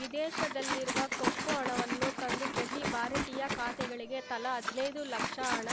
ವಿದೇಶದಲ್ಲಿರುವ ಕಪ್ಪು ಹಣವನ್ನು ತಂದು ಪ್ರತಿ ಭಾರತೀಯ ಖಾತೆಗಳಿಗೆ ತಲಾ ಹದ್ನೈದು ಲಕ್ಷ ಹಣ